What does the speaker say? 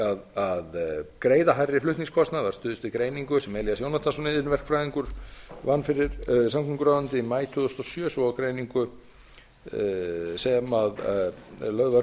er að greiða hærri flutningskostnað var stuðst við greiningu sem elías jónatansson iðnverkfræðingur vann fyrir samgönguráðuneytið í maí tvö þúsund og sjö svo og greiningu sem lögð var